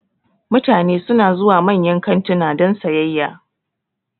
Mutane suna zuwa manyan kantuna don sayayya